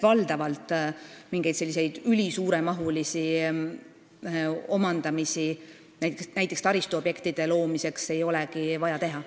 Valdavalt mingeid ülisuure mahuga omandamisi näiteks taristuobjektide rajamisel ei olegi vaja teha.